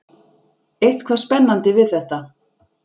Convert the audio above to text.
Eitthvað spennandi við þetta.